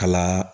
Kala